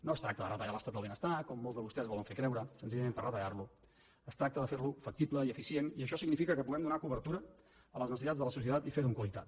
no es tracta de retallar l’estat del benestar com molts de vostès volen fer creure senzillament per retallar lo es tracta de fer lo factible i eficient i això significa que puguem donar cobertura a les necessitats de la societat i fer ho amb qualitat